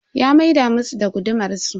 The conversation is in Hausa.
Ya maida musu da gudumar su.